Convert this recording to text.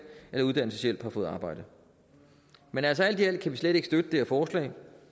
eller uddannelseshjælp har fået arbejde man altså alt i alt kan vi slet ikke støtte det her forslag